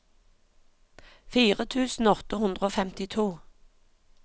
fire tusen åtte hundre og femtito